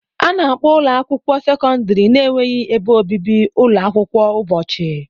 A na-akpọ ụlọ akwụkwọ sekọndrị na-enweghị ebe obibi ụlọ akwụkwọ ụbọchị.